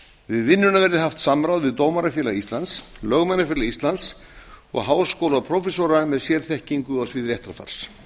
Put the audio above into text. við vinnuna verði haft samráð við dómarafélag íslands lögmannafélag íslands og háskólaprófessora með sérþekkingu á sviði réttarfars